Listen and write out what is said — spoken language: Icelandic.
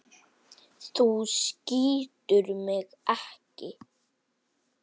Þú skýtur mig ekki.